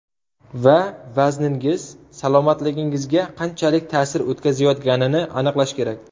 Va vazningiz salomatligingizga qanchalik ta’sir o‘tkazayotganini aniqlash kerak.